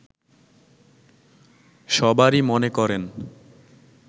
সবারই মনে করেন